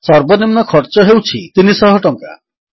ସର୍ବନିମ୍ନ ଖର୍ଚ୍ଚ ହେଉଛି 300 ଟଙ୍କା